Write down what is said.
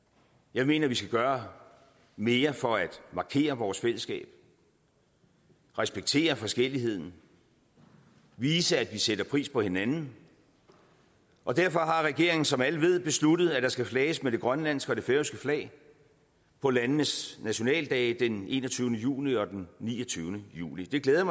jeg mener at vi skal gøre mere for at markere vores fællesskab respektere forskelligheden vise at vi sætter pris på hinanden og derfor har regeringen som alle ved besluttet at der skal flages med det grønlandske og det færøske flag på landenes nationaldage den enogtyvende juni og den niogtyvende juli det glæder